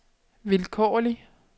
vilkårlig